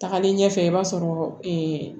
Tagalen ɲɛfɛ i b'a sɔrɔ